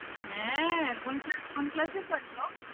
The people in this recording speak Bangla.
হ্যাঁ কোন ক্লা~ কোন class এ পড়ে ও?